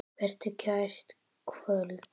Vertu kært kvödd.